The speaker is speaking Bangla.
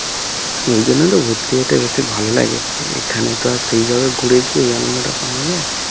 ওই জন্য তো ঘুরতে যেতে বেশি ভালো লাগে এখানে তো আর সেই ভাবে ঘুরে কি ওই আনন্দটা পাওয়া যায়